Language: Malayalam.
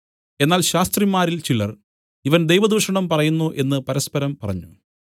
എന്നാൽ ശാസ്ത്രിമാരിൽ ചിലർ ഇവൻ ദൈവദൂഷണം പറയുന്നു എന്നു പരസ്പരം പറഞ്ഞു